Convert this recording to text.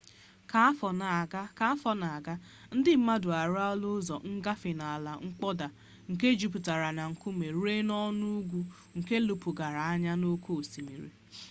ka afọ na-aga ndị mmadụ arụọla ụzọ ngafe n'ala mkpọda nke juputara na nkume ruo n'ọnụ ugwu nke lepụgara anya n'oke osimiri